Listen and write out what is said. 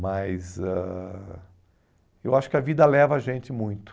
Mas ãh eu acho que a vida leva a gente muito.